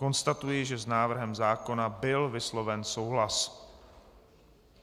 Konstatuji, že s návrhem zákona byl vysloven souhlas.